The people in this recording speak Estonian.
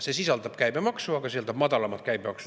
See summa sisaldab käibemaksu, aga madalamat käibemaksu.